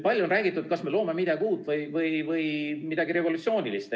Palju on küsitud, kas me loome midagi uut või revolutsioonilist.